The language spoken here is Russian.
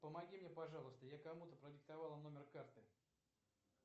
помоги мне пожалуйста я кому то продиктовала номер карты